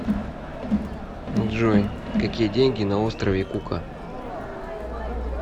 джой какие деньги на острове кука